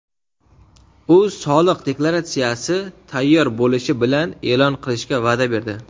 u soliq deklaratsiyasi tayyor bo‘lishi bilan e’lon qilishga va’da berdi.